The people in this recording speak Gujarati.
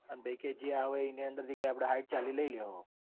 અન પછી કે જે આવેં એમાંથી આપડે સાઈઠ ચાલી લઇ લહો.